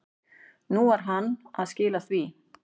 Nú var hann að skila því.